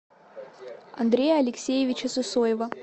андрея алексеевича сысоева